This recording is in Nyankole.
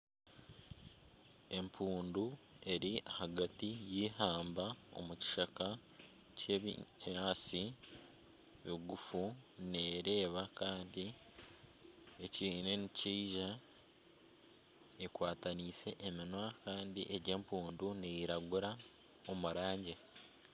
Enjojo ibiri ziri omu ishwa kandi zoona nizireebeka emitwe yonka tizirikureebeka ebicweka by'enyima, enjojo ibiri ezi ziine amaino abiri, buri njojo eine amaino abiri nana omunwa muraingwa ogu erikusharisa emere eyi erikurya ningashi ebinyaatsi, enjojo ezi ziine obwoya omubiri gw'obwoya gw'erangi ya kitaka